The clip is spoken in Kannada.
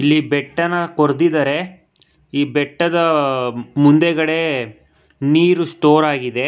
ಇಲ್ಲಿ ಬೆಟ್ಟ ನಾ ಕೊರ್ದಿದಾರೆ ಈ ಬೆಟ್ಟದ ಆ - ಮುಂದೆಗಡೆ ನೀರು ಸ್ಟೋರ್ ಆಗಿದೆ.